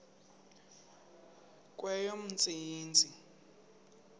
kweyomntsintsi